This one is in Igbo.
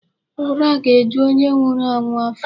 Ura ga-eju onye nwụrụ anwụ afọ.